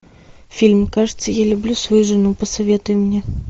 фильм кажется я люблю свою жену посоветуй мне